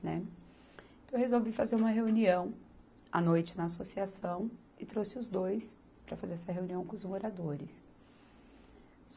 Né. Então, eu resolvi fazer uma reunião à noite na associação e trouxe os dois para fazer essa reunião com os moradores.